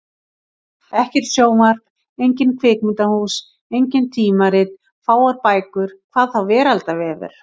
Ekkert sjónvarp, engin kvikmyndahús, engin tímarit, fáar bækur. hvað þá veraldarvefur!